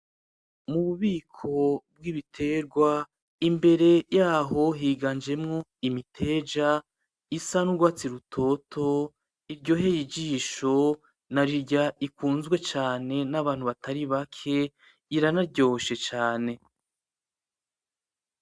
Mu bubiko bw,ibiterwa imbere yaho higanjemo imiteja isa n'urwatsi rutoto iryoheye ijisho narirya ikunzwe cane n,abantu batari bake iranaryoshe cane.